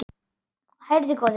Heyrðu góði!